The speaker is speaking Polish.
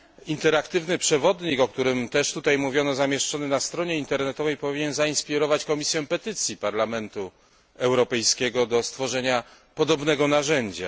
Interaktywny przewodnik, o którym też tutaj mówiono, zamieszczony na stronie internetowej, powinien zainspirować Komisję Petycji Parlamentu Europejskiego do stworzenia podobnego narzędzia.